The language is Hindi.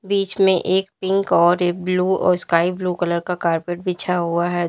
बीच में एक पिंक और ब्लू और स्काई ब्लू कलर का कारपेट बिछा हुआ है।